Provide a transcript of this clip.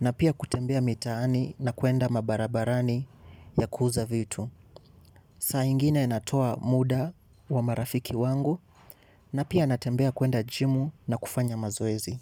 na pia kutembea mitaani na kuenda mabarabarani ya kuuza vitu. Sa ingine natoa muda wa marafiki wangu na pia natembea kuenda jimu na kufanya mazoezi.